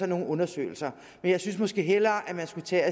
nogle undersøgelser men jeg synes måske hellere at man skulle tage